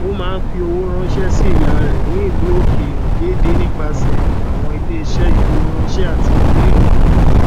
ó máa n fí owó ránṣẹ sí ìyá rẹ ní ìlu òkèèrè déédé nípasẹ àwọn iléeṣẹ ìfowóránṣẹ àtilúdélùú